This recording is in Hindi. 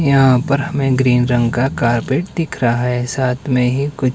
यहां पर हमें ग्रीन रंग का कारपेट दिख रहा है साथ में ही कुछ--